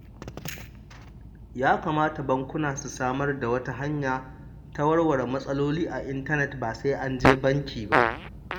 Ya kamata bankuna su samar da wata hanya ta warware matsaloli a intanet, ba sai an je banki ba